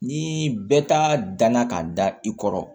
Ni bɛɛ ta danna ka da i kɔrɔ